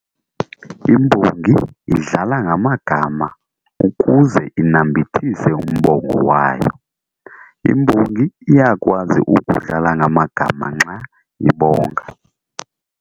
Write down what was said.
Imbongi idlala ngamagama ukuze inambithise umbongo wayo. Imbongi iyakwazi ukudlala ngamagama nxa ibonga.